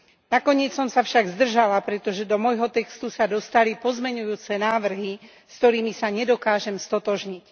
Nakoniec som sa však zdržala, pretože do môjho textu sa dostali pozmeňujúce návrhy, s ktorými sa nedokážem stotožniť.